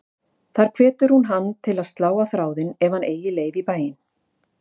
Þar hvetur hún hann til að slá á þráðinn ef hann eigi leið í bæinn.